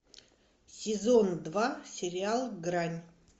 сезон два сериал грань